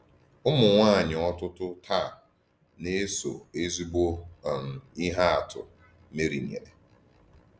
Ụmụnwaanyị ọtụtụ taa na-eso ezigbo um ihe atụ Meri nyere.